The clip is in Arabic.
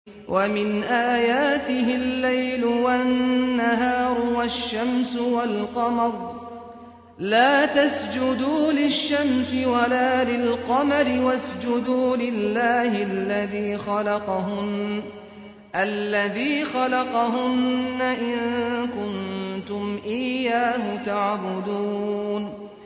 وَمِنْ آيَاتِهِ اللَّيْلُ وَالنَّهَارُ وَالشَّمْسُ وَالْقَمَرُ ۚ لَا تَسْجُدُوا لِلشَّمْسِ وَلَا لِلْقَمَرِ وَاسْجُدُوا لِلَّهِ الَّذِي خَلَقَهُنَّ إِن كُنتُمْ إِيَّاهُ تَعْبُدُونَ